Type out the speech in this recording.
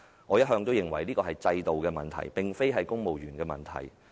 我一向認為這是制度問題，而非公務員的問題。